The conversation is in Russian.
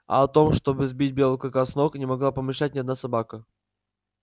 а о том чтобы сбить белого клыка с ног не могла помышлять ни одна собака